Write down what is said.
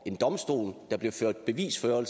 en domstol at der blev ført bevis og at